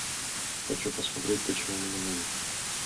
хочу посмотреть почему мы ненавидим